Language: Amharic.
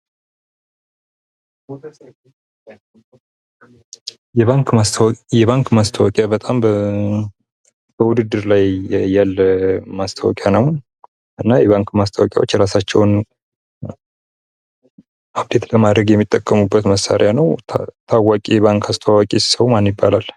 የባንክ ማስታወቂያ በጣም በውድድር ላይ ያለ ማስታወቂያ ነው። የባንክ ማስታወቂያዎች የራሳቸውን አብዴት ለማድረግ የሚጠቀሙበት መሳሪያ ነው። ታዋቂ የባንክ አስተዋዋቂ ሰው ማን ይባላል?